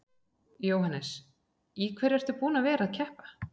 Jóhannes: Í hverju ertu búinn að vera að keppa?